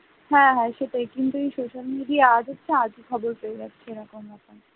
হ্যাঁ হ্যাঁ সেটাই কিন্তু এই social media আশাতে আগে খবর পেয়ে যাচ্ছে এইরকম ব্যাপার,